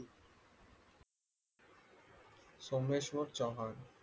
Someshwar Chavan